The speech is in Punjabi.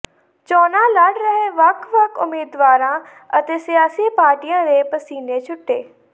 ਚੋਣਾਂ ਲੜ ਰਹੇ ਵੱਖ ਵੱਖ ਉਮੀਦਵਾਰਾਂ ਅਤੇ ਸਿਆਸੀ ਪਾਰਟੀਆਂ ਦੇ ਪਸੀਨੇ ਛੁਟੇ